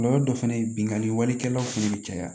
Kɔlɔlɔ dɔ fana ye binganni walekɛlaw fana bɛ caya